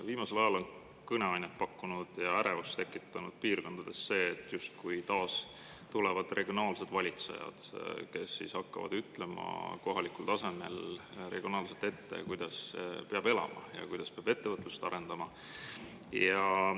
Viimasel ajal on kõneainet pakkunud ja ärevust tekitanud piirkondades see, et justkui taas tulevad regionaalsed valitsejad, kes hakkavad ütlema kohalikul tasemel regionaalselt ette, kuidas peab elama ja kuidas peab ettevõtlust arendama.